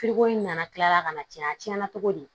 in nana kila ka na cɛn a tiɲɛna cogo di